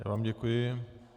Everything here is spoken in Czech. Já vám děkuji.